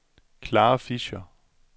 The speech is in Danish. Clara Fischer